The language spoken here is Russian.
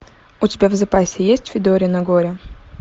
у тебя в запасе есть федорино горе